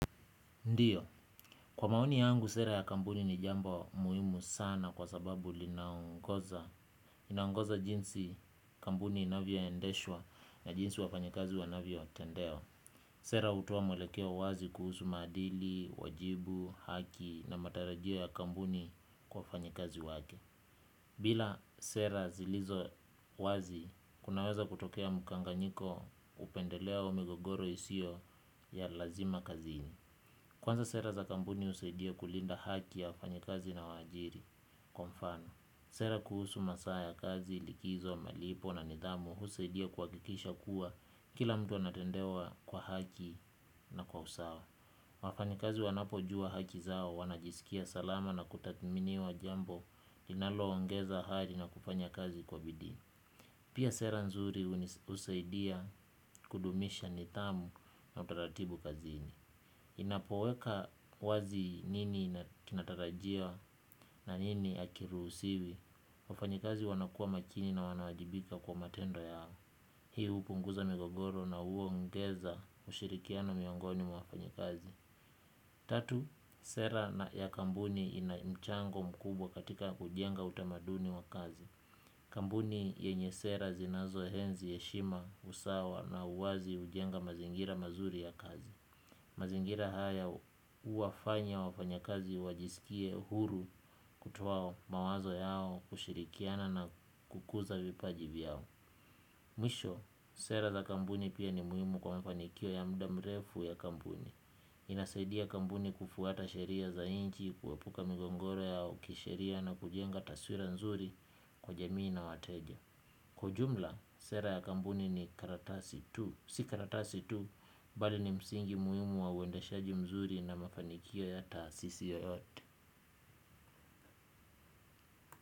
Ndiyo, kwa maoni yangu sera ya kampuni ni jambo muhimu sana kwa sababu linaongoza jinsi kampuni inavyoendeshwa na jinsi wafanyikazi wanavyotendewa. Sera hutoa mwelekeo wazi kuhusu maadili, wajibu, haki na matarajia ya kampuni kwa wafanyakazi wake. Bila sera zilizo wazi, kunaweza kutokea mkanganyiko upendelea wa migogoro isiyo ya lazima kazini. Kwanza sera za kampuni husaidia kulinda haki ya wafanyekazi na waajiri. Kwa mfano sera kuhusu masaa ya kazi likizo malipo na nidhamu husaidia kuhakikisha kuwa kila mtu anatendewa kwa haki na kwa usawa. Wafanyikazi wanapojua haki zao wanajisikia salama na kutathminiwa jambo linaloongeza hari na kufanya kazi kwa bidii. Pia sera nzuri husaidia kudumisha nidhamu na utaratibu kazini ninapoweka wazi nini tunatarajia na nini hakiruhusiwi wafanyikazi wanakuwa makini na wanawajibika kwa matendo yao. Hii hupunguza migogoro na huongeza ushirikiano miongoni mwa wafanyikazi. Tatu, sera na ya kampuni ina mchango mkubwa katika kujenga utamaduni wa kazi. Kampuni yenye sera zinazoenzi heshima usawa na uwazi hujenga mazingira mazuri ya kazi. Mazingira haya huwafanya wafanyakazi wajisikie huru kutoa mawazo yao kushirikiana na kukuza vipaji yao. Mwisho, sera za kampuni pia ni muhimu kwa mafanikio ya muda mrefu ya kampuni. Inasadia kampuni kufuata sheria za nchi, kuepuka migogoro yao, kisheria na kujenga taswira nzuri kwa jamii na wateja. Kwa ujumla, sera ya kampuni ni karatasi tu. Si karatasi tu, bali ni msingi muhimu wa uendashaji mzuri na mafanikio ya taasisi yoyote.